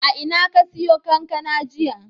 A ina ka siyo kankana jiya?